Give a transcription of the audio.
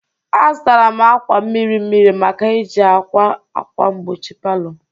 Azụtara m akwa miri miri maka iji a kwa akwa mgbochi palọ.